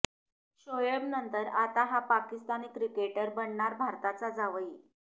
शोएब नंतर आता हा पाकिस्तानी क्रिकेटर बनणार भारताचा जावई